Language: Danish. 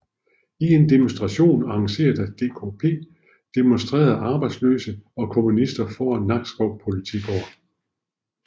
I en demonstration arrangeret af DKP demonstrerede arbejdsløse og kommunister foran Nakskov Politigård